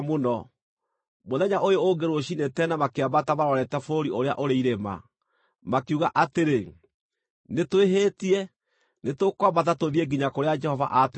Mũthenya ũyũ ũngĩ rũciinĩ tene makĩambata marorete bũrũri ũrĩa ũrĩ irĩma. Makiuga atĩrĩ, “Nĩtwĩhĩtie, nĩtũkwambata tũthiĩ nginya kũrĩa Jehova aatwĩrĩire.”